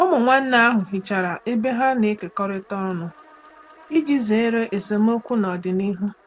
Ụmụ nwanne ahụ hichara ebe ha na-ekekọrịta ọnụ iji zere esemokwu n'ọdịnihu.